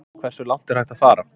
Hversu langt er hægt að fara?